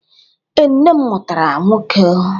Ee, nne m mụtara nwoke.